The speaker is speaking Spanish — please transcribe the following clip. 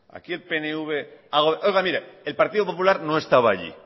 el partido popular no estaba allí